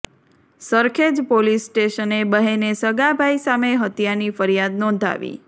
Sarkhej police સ્ટેશને બહેને સગા ભાઈ સામે હત્યાની ફરિયાદ નોંધાવી